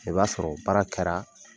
O b'a sɔrɔ baara kɛra